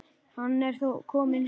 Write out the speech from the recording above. Hann er þó kominn heim.